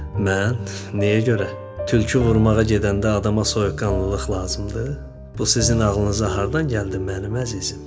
Mən, nəyə görə tülkü vurmağa gedəndə adama soyuqqanlılıq lazımdır, bu sizin ağlınıza hardan gəldi mənim əzizim?